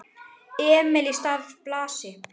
Emil í stað Blasi?